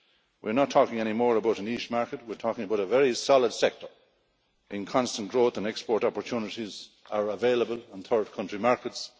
We're not talking anymore about a niche market, we're talking about a very solid sector, and constant growth and export opportunities are increasingly available on third country markets.